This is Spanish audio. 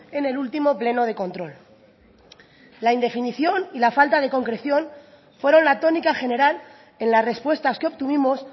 en el último pleno de control la indefinición y la falta de concreción fueron la tónica general en las respuestas que obtuvimos